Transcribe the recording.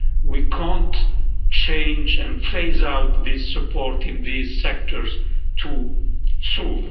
We can't change and phase out the support in these sectors too soon.